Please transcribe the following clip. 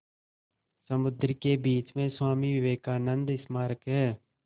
समुद्र के बीच में स्वामी विवेकानंद स्मारक है